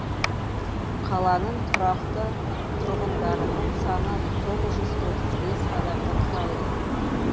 қаланың тұрақты тұрғындарының саны тоғыз жүз отыз бес адамды құрайды